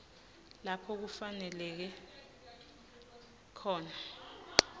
lapho kufaneleke khona